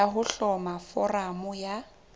ya ho hloma foramo ya